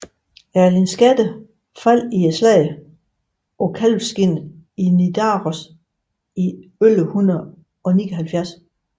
Erling Skakke faldt i slaget på Kalvskinnet i Nidaros i 1179